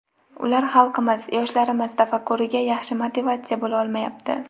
Ular xalqimiz, yoshlarimiz tafakkuriga yaxshi motivatsiya bo‘la olmayapti.